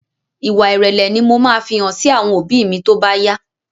Ìwà ìrẹlẹ ni mo máa fi hàn sí àwọn òbí mi tóbá yá